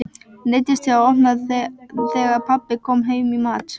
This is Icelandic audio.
Neyddist til að opna þegar pabbi kom heim í mat.